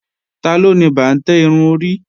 Taló ni bàǹtẹ́ irun orí